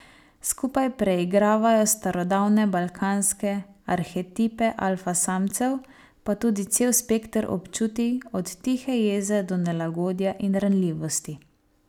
Skupaj preigravajo starodavne balkanske arhetipe alfa samcev, pa tudi cel spekter občutij, od tihe jeze do nelagodja in ranljivosti.